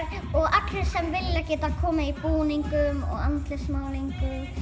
allir sem vilja geta komið í búningum og með andlitsmálningu